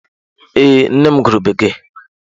Ee, nne m gụrụ Bekee.